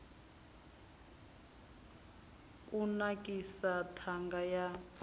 bud u kunakisa ṱhanga ya